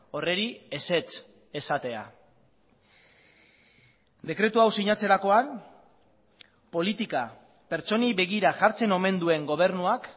horri ezetz esatea dekretu hau sinatzerakoan politika pertsonei begira jartzen omen duen gobernuak